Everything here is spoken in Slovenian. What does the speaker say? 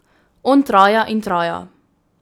On traja in traja.